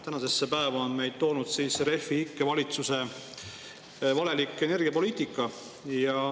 Tänasesse päeva on meid siis toonud Refi ikke valitsuse valelik energiapoliitika.